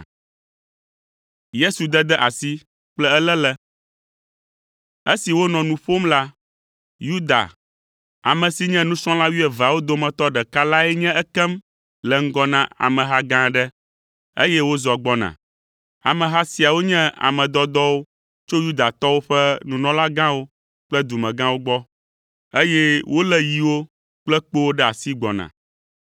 Esi wònɔ nu ƒom la, Yuda, ame si nye nusrɔ̃la wuieveawo dometɔ ɖeka lae nye ekem le ŋgɔ na ameha gã aɖe, eye wozɔ gbɔna. Ameha siawo nye ame dɔdɔwo tso Yudatɔwo ƒe nunɔlagãwo kple dumegãwo gbɔ, eye wolé yiwo kple kpowo ɖe asi gbɔna.